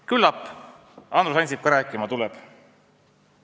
Küllap Andrus Ansip ka rääkima tuleb.